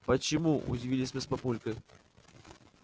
почему удивились мы с папулькой